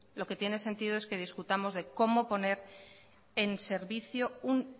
lo que tiene sentido es que discutamos de cómo poner en servicio un